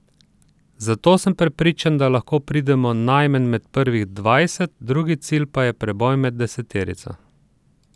Zato sem prepričan, da lahko pridemo najmanj med prvih dvajset, drugi cilj pa je preboj med deseterico.